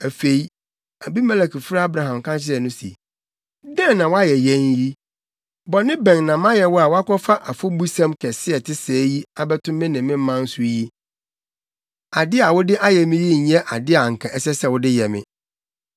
Afei, Abimelek frɛɛ Abraham ka kyerɛɛ no se, “Dɛn na woayɛ yɛn yi? Bɔne bɛn na mayɛ wo a woakɔfa afɔbusɛm kɛse a ɛte sɛɛ yi abɛto me ne me man so yi? Ade a wode ayɛ me yi nyɛ ade a anka ɛsɛ sɛ wode yɛ me.”